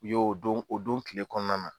U y'o don o don tile kɔnɔna na.